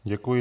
Děkuji.